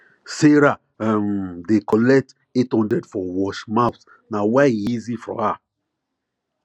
sarah um dey collect eight hundred for wash mouth nah why e easy for her